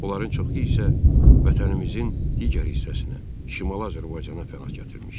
Onların çoxu isə vətənimizin digər hissəsinə, Şimali Azərbaycana pənah gətirmişdi.